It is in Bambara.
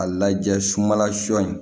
A lajɛ sumala sɔ in